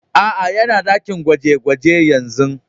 Aa, yana dakin gwaje-gwaje yanzu.